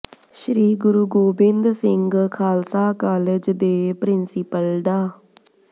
ਸ੍ਰੀ Guru Gobind Singh Khalsa college ਦੇ principal ਡਾ